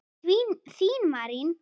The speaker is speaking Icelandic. Þín Marín.